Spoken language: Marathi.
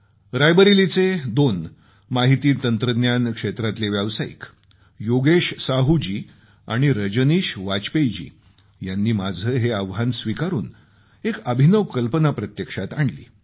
रायबरेलीचे दोन माहिती तंत्रज्ञान क्षेत्रातले व्यावसायिक योगेश साहू जी आणि रजनीश वाजपेयी जी यांनी माझं हे आवाहन स्वीकारून एक अभिनव कल्पना प्रत्यक्षात आणली